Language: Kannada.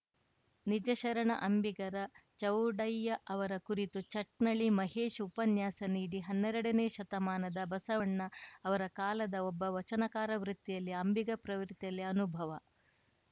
ನಿಜಶರಣ ಅಂಬಿಗರ ಚೌಡಯ್ಯ ಅವರ ಕುರಿತು ಚಟ್ನಳ್ಳಿ ಮಹೇಶ್‌ ಉಪನ್ಯಾಸ ನೀಡಿ ಹನ್ನೆರಡನೇ ಶತಮಾನದ ಬಸವಣ್ಣ ಅವರ ಕಾಲದ ಒಬ್ಬ ವಚನಕಾರ ವೃತ್ತಿಯಲ್ಲಿ ಅಂಬಿಗ ಪ್ರವೃತ್ತಿಯಲ್ಲಿ ಅನುಭವ